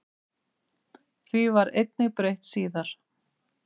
Því var einnig breytt síðar.